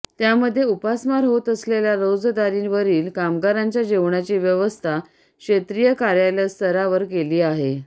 त्यामध्ये उपासमार होत असलेल्या रोजंदारीवरील कामगारांच्या जेवणाची व्यवस्था क्षेत्रीय कार्यालयस्तरावर केली आहे